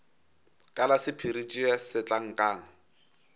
ka la sephiri tšea setlankana